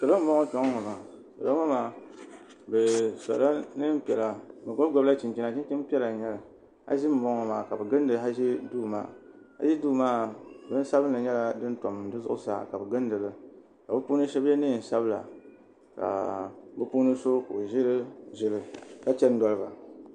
Salo n bɔŋo kpe ŋɔ maa salo ŋɔ maa bi sɔla niɛn piɛla bi gɔbi gɔbi la chinchina chinchin piɛla n nyɛli haʒi n bɔŋo maa ka bi gindi haʒi duu maa haʒi duu maa bin sabinli nyɛla din tam di zuɣusaa ka bi gindi li ka bi puuni shɛba yɛ niɛn sabila ka bi puuni so ka o ʒiri ʒili ka chani dɔliba.